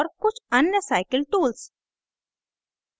और कुछ अन्य cycle tools